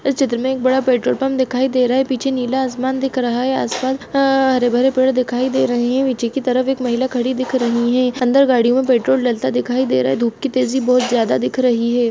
इस चित्र मे एक बड़ा पेट्रोल पम्प दिखाई दे रहा हैं पीछे नीला आसमान दिख रहा हैं आसपास हरे-भरे पेड़ दिखाई दे रहे हैं पीछे की तरफ एक महिला खड़ी दिख रही हैं अंदर गाड़ियों मे पेट्रोल डलता दिखाई दे रहा हैं धूप की तेजी बहुत ज्यादा दिख रही हैं।